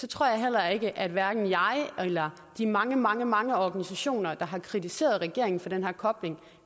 tror jeg at hverken jeg eller de mange mange mange organisationer der har kritiseret regeringen for den her kobling